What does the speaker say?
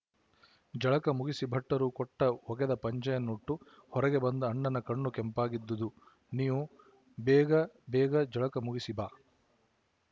ಜಳಕ ಮುಗಿಸಿ ಭಟ್ಟರು ಕೊಟ್ಟ ಒಗೆದ ಪಂಜಿಯನ್ನುಟ್ಟು ಹೊರಗೆ ಬಂದ ಅಣ್ಣನ ಕಣ್ಣು ಕೆಂಪಾಗಿದ್ದುವು ನೀವು ಬೇಗ ಬೇಗ ಜಳಕ ಮುಗಿಸಿ ಬಾ